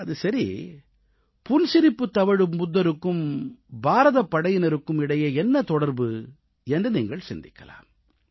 அது சரி புன்சிரிப்பு தவழும் புத்தருக்கும் பாரதப் படையினருக்கும் இடையே என்ன தொடர்பு என்று நீங்கள் சிந்திக்கலாம்